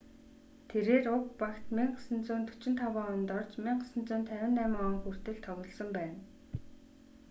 тэрээр уг багт 1945 онд орж 1958 он хүртэл тоглосон байна